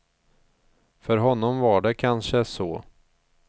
För honom var det kanske så.